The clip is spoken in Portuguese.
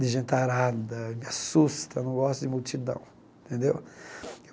de gentarada, me assusta, não gosto de multidão, entendeu?